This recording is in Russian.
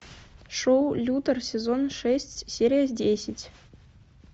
шоу лютер сезон шесть серия десять